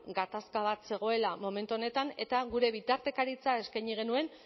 gatazka bat zegoela momentu honetan eta gure bitartekaritza eskaini genuen